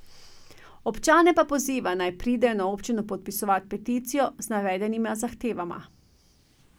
Občane pa poziva, naj pridejo na občino podpisovat peticijo z navedenima zahtevama.